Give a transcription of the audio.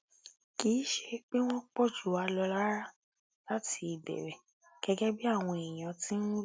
kì í ṣe pé wọn pọ jù wá lọ rárá láti ìbẹrẹ gẹgẹ bí àwọn èèyàn ti ń wí